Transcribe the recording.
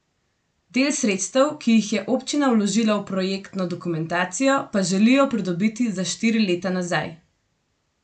Del sredstev, ki jih je občina vložila v projektno dokumentacijo, pa želijo pridobiti za štiri leta nazaj.